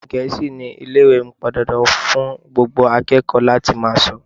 Èdè Gẹ̀ẹ́sì ni Ilé-ìwé mí pọn dandan fún gbogbo akẹ́kọ̀ọ́ láti máa sọ.